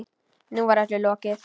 Nú var öllu lokið.